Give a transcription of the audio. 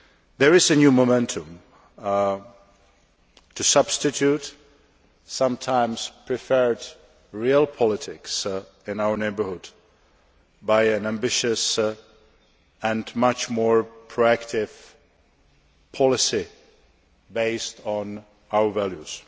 There is a new momentum to substitute, sometimes, preferred real politics in our neighbourhood by an ambitious and much more proactive policy based on our values.